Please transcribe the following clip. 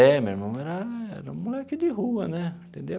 É, meu irmão era era moleque de rua né, entendeu?